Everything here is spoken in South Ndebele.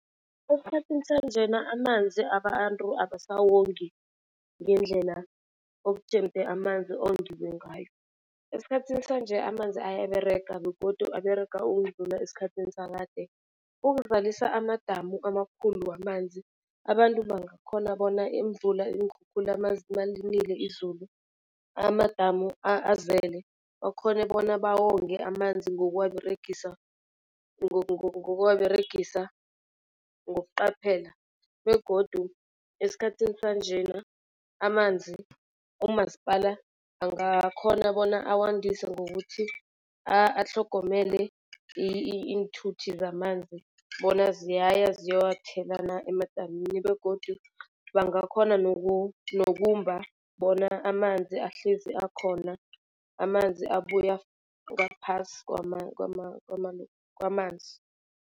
Esikhathini sanjena amanzi abantu abasawongi ngendlela okujemde amanzi ongiwe ngayo. Esikhathini sanje amanzi ayaberega begodu aberega ukudlula esikhathini sakade. Ukuvalisa amadamu amakhulu wamanzi abantu bangakhona bona imvula iinkhukhula malinile izulu amadamu azele, bakhone bona bawonge amanzi ngokuwaberegisa ngokuwaberegisa ngokuqaphela. Begodu esikhathini sanjena amanzi umasipala angakhona bona, awandise ngokuthi atlhogomele iinthuthi zamanzi bona ziyaya ziyowathela na emadamini begodu bangakhona nokumba bona amanzi ahlezi akhona, amanzi abuya ngaphasi kwamanzi.